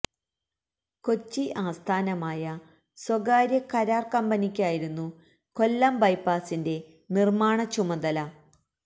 കൊച്ചി അസഥാനമായ സ്വകാര്യ കരാർ കമ്പനിക്കായിരുന്നു കൊല്ലം ബൈപ്പാസിന്റെ നിർമ്മാണ ചുമതല